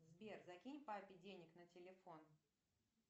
сбер закинь папе денег на телефон